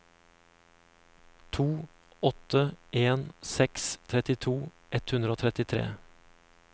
to åtte en seks trettito ett hundre og trettitre